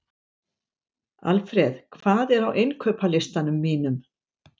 Alfred, hvað er á innkaupalistanum mínum?